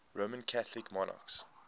roman catholic monarchs